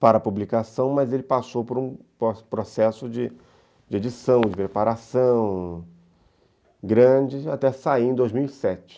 para a publicação, mas ele passou por um processo de de edição, de preparação grande até sair em dois mil e sete.